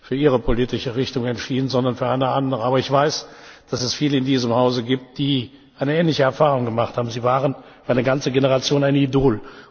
für Ihre politische Richtung entschieden, sondern für eine andere. Aber ich weiß, dass es viele in diesem Hause gibt, die eine ähnliche Erfahrung gemacht haben Sie waren für eine ganze Generation ein Idol.